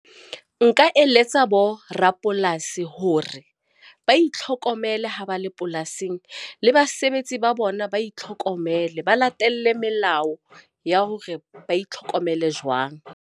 Nka eletsa borapolasi hore ba itlhokomele ha ba le polasing le basebetsi ba bona ba itlhokomele, ba latele melao ya hore ba itlhokomele jwang.